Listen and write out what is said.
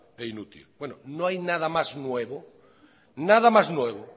e inútil no hay nada más nuevo